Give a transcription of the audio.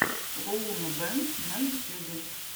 лоунабэнд на ютьюбе